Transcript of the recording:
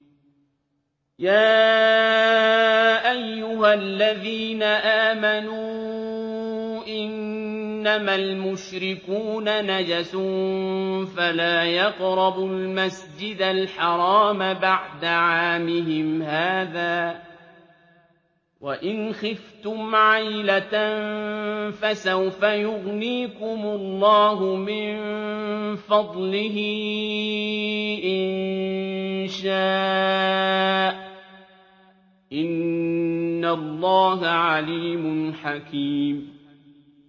يَا أَيُّهَا الَّذِينَ آمَنُوا إِنَّمَا الْمُشْرِكُونَ نَجَسٌ فَلَا يَقْرَبُوا الْمَسْجِدَ الْحَرَامَ بَعْدَ عَامِهِمْ هَٰذَا ۚ وَإِنْ خِفْتُمْ عَيْلَةً فَسَوْفَ يُغْنِيكُمُ اللَّهُ مِن فَضْلِهِ إِن شَاءَ ۚ إِنَّ اللَّهَ عَلِيمٌ حَكِيمٌ